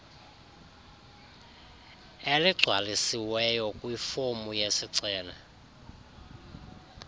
eligcwalisiweyo kwifomu yesicelo